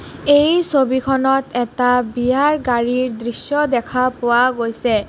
এই ছবিখনত এটা বিয়াৰ গাড়ীৰ দৃশ্য দেখা পোৱা গৈছে।